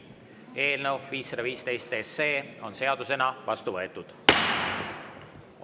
Eelnõu 515 on seadusena vastu võetud.